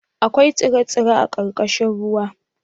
Akwai tsire-tsire a ƙarƙashin ruwa?